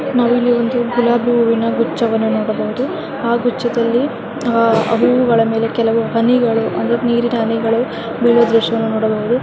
ಇಲ್ಲಿ ಒಂದು ಗುಲಾಬಿ ಹೂವಿನ ಗುಚ್ಛವನ್ನು ನೋಡಬಹುದು. ಆ ಗುಚ್ಛದಲ್ಲಿ ಅಹ್ ಹೂವುಗಳ ಮೇಲೆ ಕೆಲವು ಹನಿಗಳು ಅಂದರೆ ನೀರಿನ ಹನಿಗಳು ಬೀಳುವ ದೃಶ್ಯವನ್ನು ನೋಡಬಹುದು.